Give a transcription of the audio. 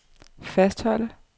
fastholde